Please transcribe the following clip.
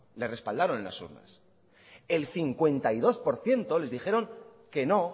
les respaldaron en las urnas el cincuenta y dos por ciento les dijeron que no